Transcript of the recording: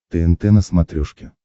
тнт на смотрешке